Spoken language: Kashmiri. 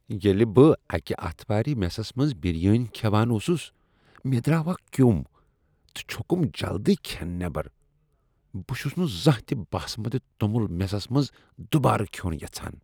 ییٚلہ بہٕ اکہِ آتھوارِ میسس منز بِریانی كھیوان اوسُس ، مے٘ دراو اكھ كِیو٘م تہ چھوكُم جلدی كھین نیبر ۔ بہٕ چھس نہٕ زانٛہہ تہ باسمتہِ توٚمُل میسس منٛز دوبارٕ کھیوٚن یژھان۔